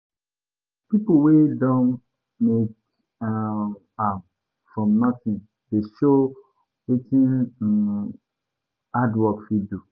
Pipo wey don make um am from nothing dey show wetin um hard work fit do.